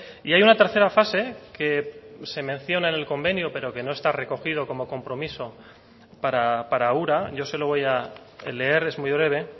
y hay una tercera fase que se menciona en el convenio pero que no está recogido como compromiso para ura yo se lo voy a leer es muy breve